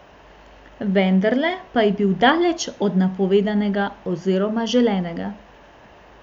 Vendarle pa je bil daleč od napovedanega oziroma želenega.